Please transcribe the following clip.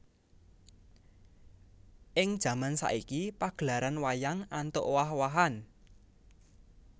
Ing jaman saiki pagelaran wayang antuk owah owahan